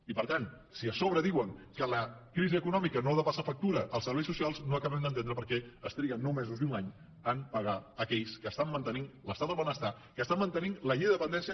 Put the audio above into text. i per tant si a sobre diuen que la crisi econòmica no ha de passar factura als serveis socials no acabem d’entendre per què es triguen nou mesos i un any a pagar aquells que mantenen l’estat del benestar que mantenen la llei de dependència